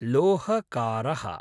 लोहकारः